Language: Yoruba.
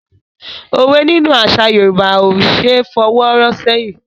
Òwe nínú àṣà Yorùbá ò ṣé fọwọ́ rọ́ ṣẹ́yìn.